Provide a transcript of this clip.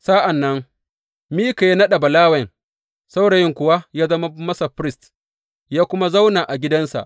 Sa’an nan Mika ya naɗa Balawen, saurayin kuwa ya zama masa firist ya kuma zauna a gidansa.